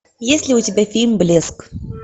есть ли у тебя фильм блеск